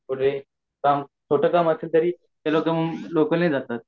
जास्त लोक लोकल नीच ज्सातात